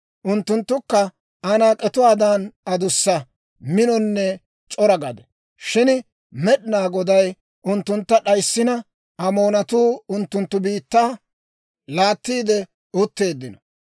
Unttunttukka Anaak'etuwaadan adussa, minonne c'ora gade; shin Med'inaa Goday unttuntta d'ayssina, Amoonatuu unttunttu biittaa laattiide utteeddino.